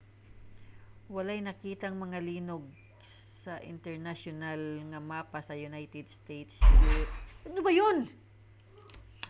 walay nakitang mga linog sa internasyonal nga mapa sa united states geological survey sa iceland sa miaging semana